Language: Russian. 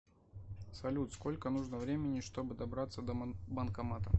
салют сколько нужно времени чтобы добраться до банкомата